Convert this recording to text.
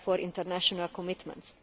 international commitments.